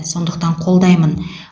сондықтан қолдаймын